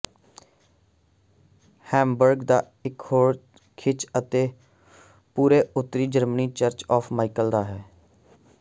Hamburg ਦਾ ਇਕ ਹੋਰ ਖਿੱਚ ਅਤੇ ਪੂਰੇ ਉੱਤਰੀ ਜਰਮਨੀ ਚਰਚ ਆਫ਼ ਮਾਈਕਲ ਦਾ ਹੈ